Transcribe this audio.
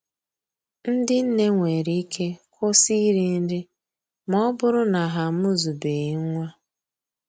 Ndị nne nwere ike kwụsị iri nri ma ọ bụrụ na ha amụzubeghị nwa